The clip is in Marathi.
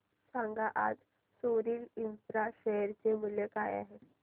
सांगा आज सोरिल इंफ्रा शेअर चे मूल्य काय आहे